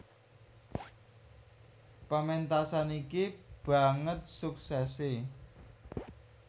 Pementasan iki banget suksese